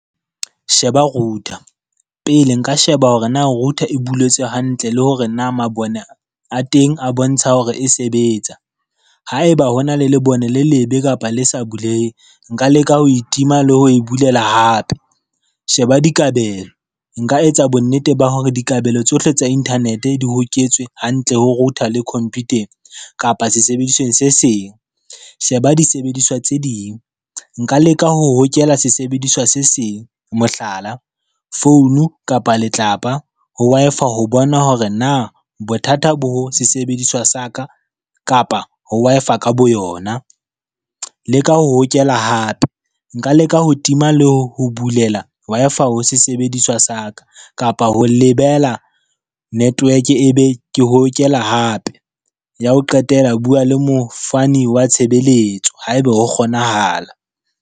Sheba router, pele nka sheba hore na router e buletswe hantle le hore na mabone a teng a bontsha hore e sebetsa. Haeba hona le lebone le lebe kapa le sa buleheng, nka leka ho itima le ho e bulela hape. Sheba dikabelo nka etsa bonnete ba hore dikabelo tsohle tsa internet di hoketswe hantle ho router le computer-eng kapa sesebedisweng se seng. Sheba disebediswa tse ding nka leka ho hokela sesebediswa se seng, mohlala, founu kapa letlapa ho Wi-Fi ho bona hore na bothata bo sesebediswa sa ka, kapa ho Wi-Fi ka boyona. Leka ho hokela hape, nka leka ho tima le ho bulela Wi-Fi ho sesebediswa sa ka, kapa ho lebela network e be ke hokela hape ya ho qetela, bua le mofani wa tshebeletso haebe ho kgonahala.